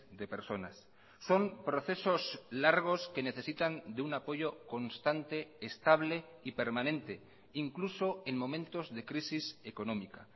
de personas son procesos largos que necesitan de un apoyo constante estable y permanente incluso en momentos de crisis económica